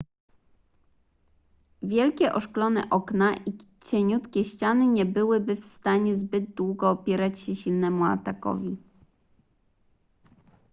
wielkie oszklone okna i cieniutkie ściany nie byłyby w stanie zbyt długo opierać się silnemu atakowi